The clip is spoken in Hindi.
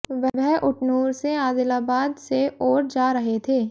वह उटनूर से आदिलाबाद से ओर जा रहे थे